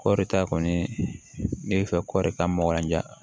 Kɔɔri ta kɔni ne bɛ fɛ kɔri ka maka ja